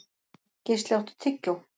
Geisli, áttu tyggjó?